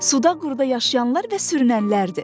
Suda quruda yaşayanlar və sürünənlərdir.